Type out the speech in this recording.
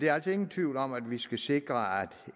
er altså ingen tvivl om at vi skal sikre at